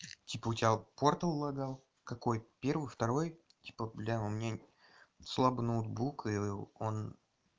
типа у тебя портал логал какой первый второй типа бля у меня слабый ноутбук и он